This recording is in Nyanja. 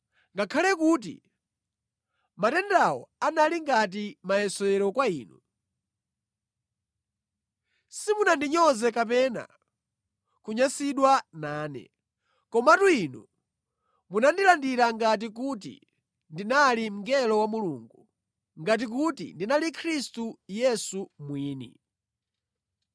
Ngakhale kuti matendawo anali ngati mayesero kwa inu, simunandinyoze kapena kunyansidwa nane. Komatu inu munandilandira ngati kuti ndinali mngelo wa Mulungu, ngati kuti ndinali Khristu Yesu mwini.